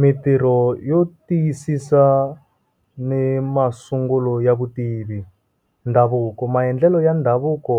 Mintirho yo tiyisisa ni masungulo ya vutivi, dhavuko. Maendlelo ya ndhavuko,